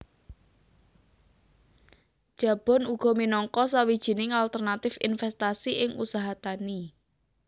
Jabon uga minangka sawijining alternatif investasi ing usaha tani